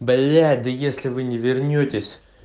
блять да если вы не вернётесь